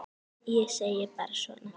Ég segi bara svona.